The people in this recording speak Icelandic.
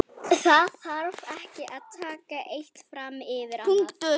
Það þarf ekki að taka eitt fram yfir annað.